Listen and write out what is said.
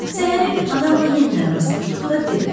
Səhəri gün adamla yenidən rastlaşdıqda dedi.